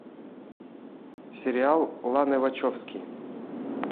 сериал ланы вачовски